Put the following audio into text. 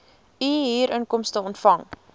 u huurinkomste ontvang